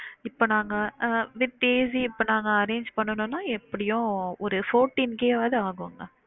இப்ப நாங்க அஹ் with AC இப்ப நாங்க arrange பண்ணணுனா எப்படியும் ஒரு forteen K வதும் ஆகும் mam